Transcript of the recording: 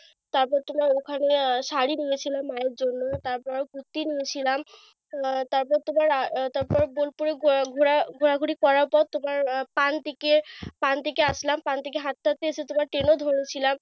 তারপর তোমার ওখানে আহ শাড়ি নিয়ে ছিলাম মায়ের জন্য তারপর কুরতি নিয়েছিলাম। আহ তারপর তোমার আহ তারপরে বোলপুরে ঘুরা ঘুরাঘুরি করার পর তোমার আহ পানটিকে পানটিকে আসলাম। পানটিকে হাঁটতে হাঁটতে তোমার train ও ধরেছিলাম।